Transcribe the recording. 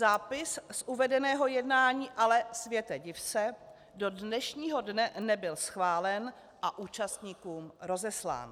Zápis z uvedeného jednání ale, světe div se, do dnešního dne nebyl schválen a účastníkům rozeslán.